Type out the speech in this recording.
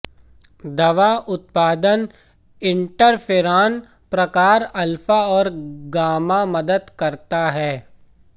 दवा उत्पादन इंटरफेरॉन प्रकार अल्फा और गामा मदद करता है